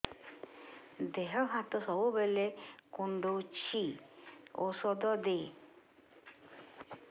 ଦିହ ହାତ ସବୁବେଳେ କୁଣ୍ଡୁଚି ଉଷ୍ଧ ଦେ